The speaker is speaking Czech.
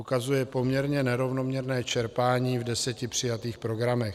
ukazuje poměrně nerovnoměrné čerpání v deseti přijatých programech.